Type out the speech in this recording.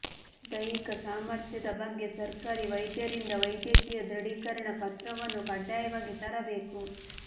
ದೈಹಿಕ ಸಾಮಥ್ರ್ಯದ ಬಗ್ಗೆ ಸರ್ಕಾರಿ ವೈದ್ಯರಿಂದ ವೈದ್ಯಕೀಯ ದೃಢೀಕರಣ ಪತ್ರವನ್ನು ಕಡ್ಡಾಯವಾಗಿ ತರಬೇಕು